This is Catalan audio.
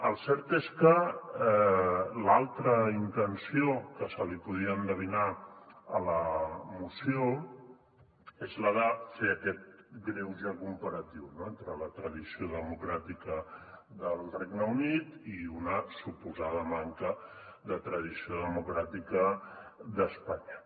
el cert és que l’altra intenció que se li podia endevinar a la moció és la de fer aquest greuge comparatiu entre la tradició democràtica del regne unit i una suposada manca de tradició democràtica d’espanya